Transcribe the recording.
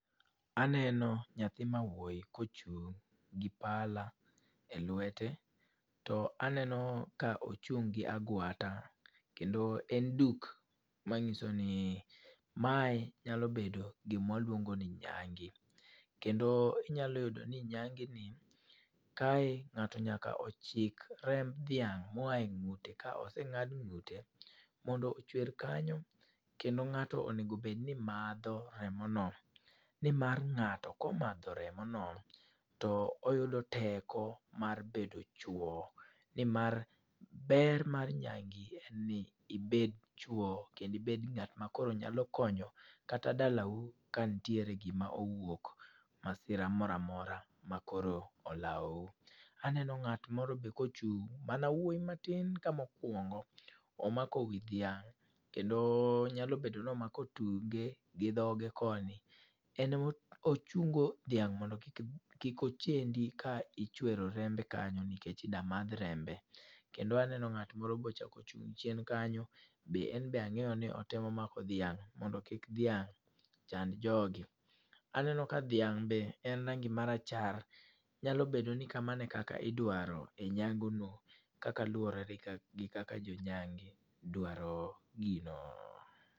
Aneno nyathi ma wuoyi ka ochung' gi pala e lwete. To aneno ka ochung' gi agwata, kendo en duk, manyiso ni mae nyalo bedo gima waluongo ni nyange. Kendo inyalo yudo ni nyange ni kae ngáto nyaka ochik remb dhiang', ma oa e ngúte ka osengád ngúte. Mondo ochwer kanyo. Kendo ngáto onego bed ni madho remo no, ni mar ngáto komadho remo no, to oyudo teko mar bedo chwo. Ni mar, ber mar nyange en ni ibed chwo, kendo ibed ngát ma koro nyalo konyo kata dala u ka ntiere gima owuok, masira mora mora ma koro olaou. Aneno ngát moro bende ka ochung'. Mana wuoyi matin ka mokwongo. Omako wi dhiang', kendo nyalo bedo ni omako tunge, gi dhoge koni, en ema ochungo dhiang' mondo kik kik ochendi ka ichwero rembe kanyo, nikech idwa madh rembe. Kendo aneno ngáto moro be ochak ochung' chien kanyo. Be enbe angéyo ni otemo mako dhiang', mondo kik dhiang' chand jogi. Aneno ka dhiang' be en rangi ma rachar, nyalo bedo ni kamano e kaka idwaro e nyango no, kaka luwore gi ka gi kaka jo nyange dwaro gino.